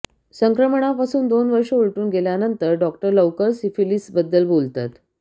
संक्रमणापासून दोन वर्ष उलटून गेल्यानंतर डॉक्टर लवकर सिफिलीसबद्दल बोलतात